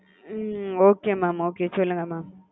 ம் okay mam okay சொல்லுங்க mam.